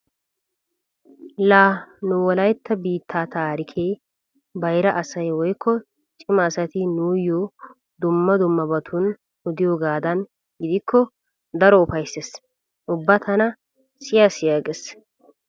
Laa nu wolaytta biittaa taarikee bayra asay woykko cima asati nuuyyo dumma dummabatun odiyogaadan gidikko daro ufayssees. Ubba tana siya siya gees.